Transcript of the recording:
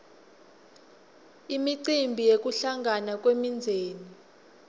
imicimbi yekuhlangana kwemindzeni